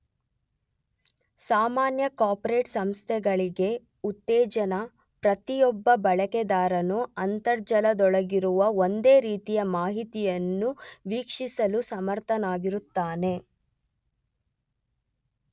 ಸಾಮಾನ್ಯ ಕಾರ್ಪೋರೆಟ್ ಸಂಸ್ಕೃತಿಗೆ ಉತ್ತೇಜನ, ಪ್ರತಿಯೊಬ್ಬ ಬಳಕೆದಾರನು ಅಂತರ್ಜಾಲದೊಳಗಿರುವ ಒಂದೇ ರೀತಿಯ ಮಾಹಿತಿಯನ್ನು ವೀಕ್ಷಿಸಲು ಸಮರ್ಥನಾಗಿರುತ್ತಾನೆ.